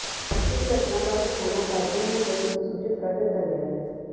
ਇਸ ਘਟਨਾ ਬਾਰੇ ਥਾਣਾ ਕਾਦੀਆਂ ਦੀ ਪੁਲਿਸ ਨੂੰ ਸੂਚਿਤ ਕਰ ਦਿੱਤਾ ਗਿਆ ਹੈ